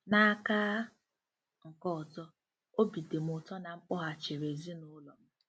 N’aka nke ọzọ, obi dị m ụtọ na m kpọghachiri ezinụlọ m.